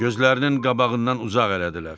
Gözlərinin qabağından uzaq elədilər.